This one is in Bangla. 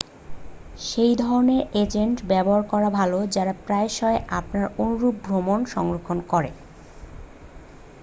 সেই ধরণের এজেন্ট ব্যবহার করা ভালো যারা প্রায়শই আপনার অনুরুপ ভ্রমণ সংরক্ষণ করে